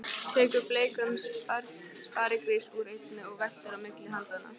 Tekur bleikan sparigrís úr einni og veltir á milli handanna.